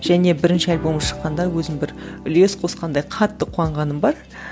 және бірінші альбомы шыққанда өзім бір үлес қосқандай қатты қуанғаным бар